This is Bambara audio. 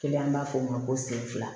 an b'a fɔ o ma ko sen fila